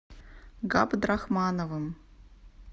габдрахмановым